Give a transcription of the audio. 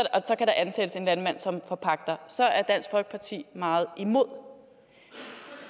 så kan der ansættes en landmand som forpagter så er dansk folkeparti meget imod